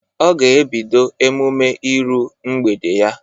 Ọ ga ebido emume ịru mgbede ya.